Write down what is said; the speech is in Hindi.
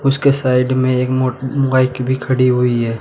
उसके साइड में एक मोटबाइक भी खड़ी हुई है।